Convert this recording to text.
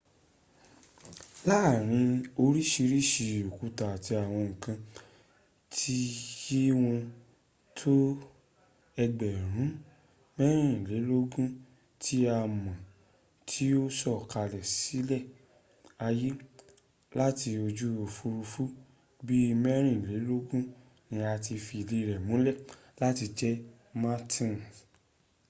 láàrin orísìírìsìí òkúta àti àwọn nǹkan tí ye wọ́n tó ẹgbẹ̀rún mẹ́rìnlélógún tí a mọ̀ tí ó sọ̀kalẹ̀ sílé ayé láti ojú òfúrufú bí i mẹ́rìnlélógún ni a ti fìdí rẹ múlẹ̀ láti jẹ martian.